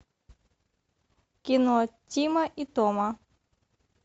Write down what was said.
кино тима и тома